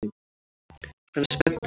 Hann er spenntur.